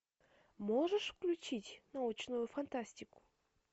можешь включить научную фантастику